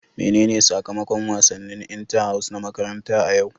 Menene sakamakon wasannin inter house na makaranta a yau?